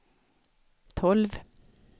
tolv